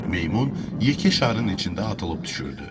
Meymun yekə şarın içində atılıb düşürdü.